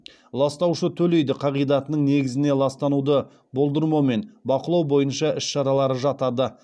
ластаушы төлейді қағидатының негізіне ластануды болдырмау мен бақылау бойынша іс шаралары жатады